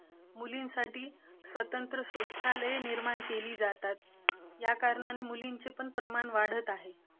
मुलांसाठी स्वतंत्र शौचालये शाळेत निर्माण केली जातात, याकारणाने मुलींचेपण प्रमाण वाढतं आहे.